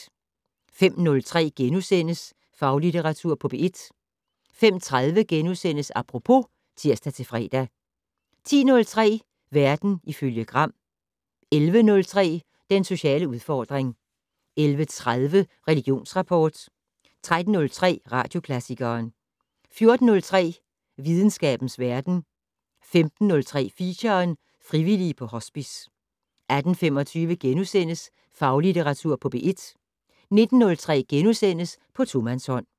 05:03: Faglitteratur på P1 * 05:30: Apropos *(tir-fre) 10:03: Verden ifølge Gram 11:03: Den sociale udfordring 11:30: Religionsrapport 13:03: Radioklassikeren 14:03: Videnskabens verden 15:03: Feature: Frivillige på Hospice 18:25: Faglitteratur på P1 * 19:03: På tomandshånd *